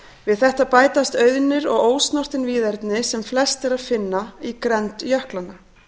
við þetta bætast auðnir og ósnortin víðerni sem flest er að finna í grennd jöklanna